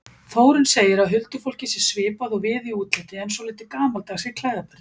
Þórunn segir að huldufólkið sé svipað og við í útliti en svolítið gamaldags í klæðaburði.